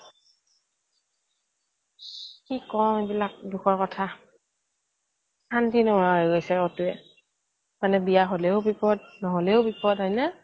তাকে কি কম এইবিলাক দুখৰ কথা শান্তি নোহোৱা হৈ গৈছে মানে বিয়া হ'লেও বিপদ নহ'লেও বিপদ হয়নে